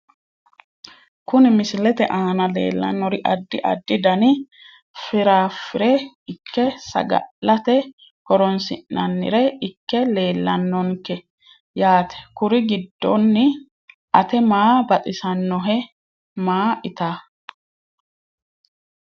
Kuni misilete aana lelanori adi adi dani firafire ikke saga`late horonsinanire ikke leelanonke yaate kuri giddoni ate maa baxisawohe maa itaa.